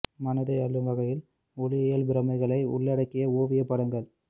மனதை அள்ளும் வகையில் ஒளியியல் பிரமைகளை உள்ளடக்கிய ஓவியப் படங்கள்